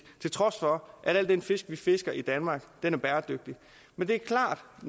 til trods for at al den fisk vi fisker i danmark er bæredygtig men det er klart